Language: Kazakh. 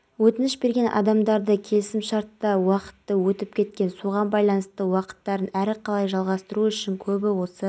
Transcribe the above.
жасап елбасы жиынға қатысушыларды мерейлі күнмен құттықтап жылғы шілдеден бастап ішкі істер органдары қызметкерлерінің еңбекақысын